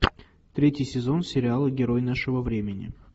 третий сезон сериала герой нашего времени